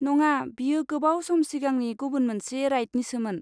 नङा, बेयो गोबाव सम सिगांनि गुबुन मोनसे राइडनिसोमोन।